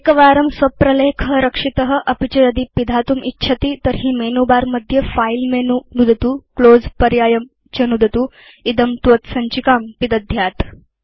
एकवारं स्व प्रलेख रक्षित अपि च यदि पिधातुम् इच्छति तर्हि मेनुबारमध्ये फिलेमेनु नुदतु क्लोज़ पर्यायं च नुदतु इदं त्वत् सञ्चिकाम् पिदध्यात्